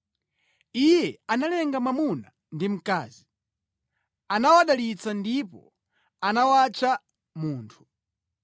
Iye analenga mwamuna ndi mkazi. Anawadalitsa ndipo anawatcha “Munthu.”